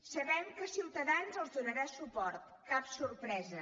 sabem que ciutadans els donarà suport cap sorpresa